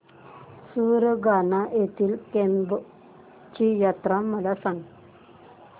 सुरगाणा येथील केम्ब ची यात्रा मला सांग